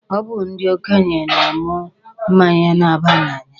Ọ bụ ndị okenye na-aṅụ mmanya na-aba n'anya.